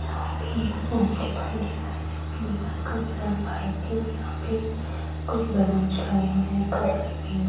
यहां पे एक रूम दिखाई दे रहा है जिसके दीवाल का कलर वाइट है और यहां पे कुछ बैलून्स लगे हुए है इनका कलर पिंक है।